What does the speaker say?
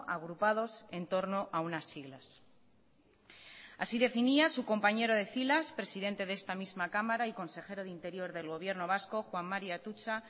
agrupados entorno a unas siglas así definía su compañero de filas presidente de esta misma cámara y consejero de interior del gobierno vasco juan mari atutxa